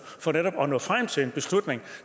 for netop at nå frem til en beslutning